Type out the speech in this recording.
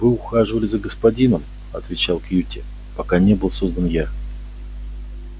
вы ухаживали за господином отвечал кьюти пока не был создан я